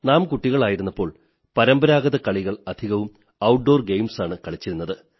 നാം കുട്ടികളായിരുന്നപ്പോൾ പരമ്പരാഗത കളികൾ അധികവും ഔട്ട് ഡോർ ഗെയിംസ് ആണ് കളിച്ചിരുന്നത്